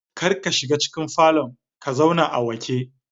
Kar ka shiga cikin falon ka zauna a wake